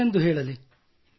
ಏನೆಂದು ಹೇಳಲಿ